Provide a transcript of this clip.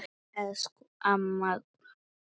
Elsku amma Dúra.